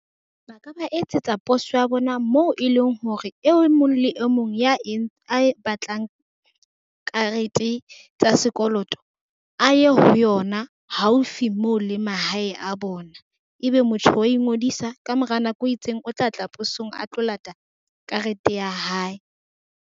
Ba ka ba etsetsa poso ya bona moo e leng hore e mong le e mong ya a e batlang karete tsa sekoloto a ye ho yona haufi moo le mahae a bona. Ebe motho wa ingodisa ka mora nako e itseng, O tla tla posong a tlo lata karete ya hae.